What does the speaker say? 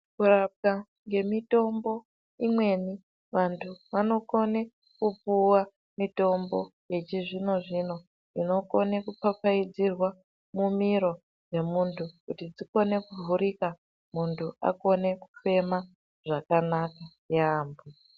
Kurapwa ngemitombo imweni vantu vanokone kupuwa mitombo yechizvino zvino inokone kupfapfaidzirwa mumiro yemuntu kuti dzikone kuvhurika muntu akone kufema zvakanaka yaamho.